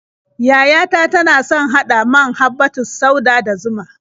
Yaya ta tana son haɗa man habbatus sauda da zuma.